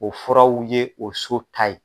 O furaw ye o so ta ye.